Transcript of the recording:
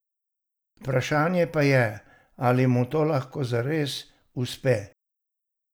Vprašanje pa je, ali mu to lahko zares uspe.